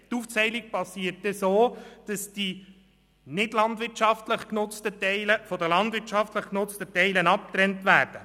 Die Aufteilung geht so vor sich, dass die nichtlandwirtschaftlich genutzten Teile von den landwirtschaftlich genutzten Teilen abgetrennt werden.